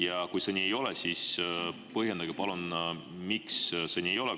Ja kui see nii ei ole, siis põhjendage palun, miks ei ole.